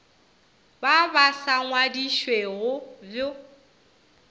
ba ba sa ngwadišwego bj